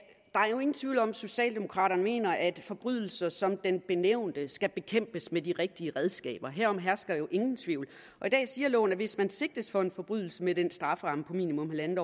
nogen tvivl om at socialdemokraterne mener at forbrydelser som den benævnte skal bekæmpes med de rigtige redskaber herom hersker jo ingen tvivl i dag siger loven at hvis man sigtes for en forbrydelse med en strafferamme på minimum en en